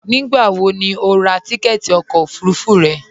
Nígbàwò ní o rà tìkẹ̀tì ọkọ ofurufú rẹ?